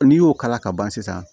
N'i y'o k'a la ka ban sisan